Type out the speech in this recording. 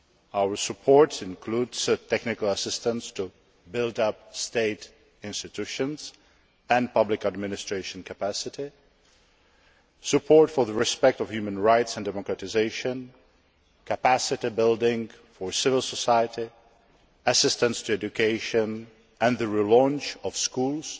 our support includes technical assistance to help build state institutions and public administration capacity, support for the respect of human rights and democratisation, capacity building for civil society, assistance for education and the relaunch of schools,